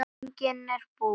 Æfingin búin!